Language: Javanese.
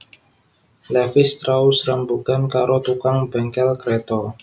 Levis strauss rembugan karo tukang bengkel kreta